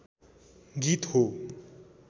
गीत हो